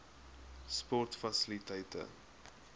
sportfasiliteite